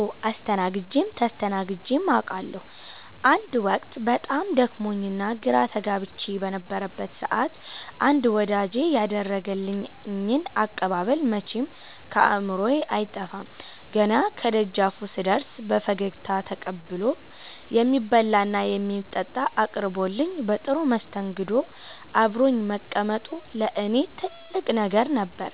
አዎ አስተናግጀም ተስተናግጀም አቃለሁ። አንድ ወቅት በጣም ደክሞኝና ግራ ተጋብቼ በነበረበት ሰዓት አንድ ወዳጄ ያደረገልኝ አቀባበል መቼም ከአእምሮዬ አይጠፋም። ገና ከደጃፉ ስደርስ በፈገግታ ተቀብሎ፣ የሚበላና የሚጠጣ አቅርቦልኝ በጥሩ መስተንግዶ አብሮኝ መቀመጡ ለእኔ ትልቅ ነገር ነበር።